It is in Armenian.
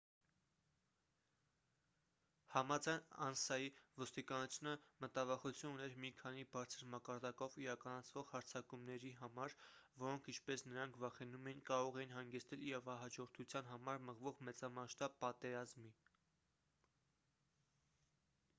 համաձայն անսայի ոստիկանությունը մտավախություն ուներ մի քանի բարձր մակարդակով իրականացվող հարձակումների համար որոնք ինչպես նրանք վախենում էին կարող էին հանգեցնել իրավահաջորդության համար մղվող մեծամասշտաբ պատերազմի